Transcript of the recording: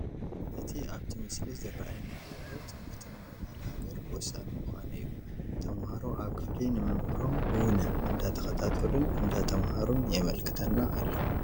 እቲ ኣብቲ ምስሊ ዝራኣየና ዘሎ ትምህርቲ ንምዕባለ ሃገር ወሳኒ ምዃኑ እዩ፡፡ ተምሃሮ ኣብ ክፍሊ ንመምህሮም ብውነ እንዳተኸታተሉን እንዳተምሃሩን የመልክተና ኣሎ፡፡